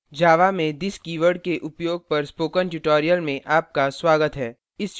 java में this keyword के उपयोग पर spoken tutorial में आपका स्वागत है